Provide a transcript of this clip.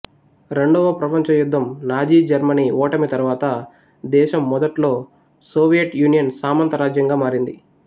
రెండవ ప్రపంచ యుద్ధం నాజీ జర్మనీ ఓటమి తరువాత దేశం మొదట్లో సోవియట్ యూనియన్ సామంత రాజ్యంగా మారింది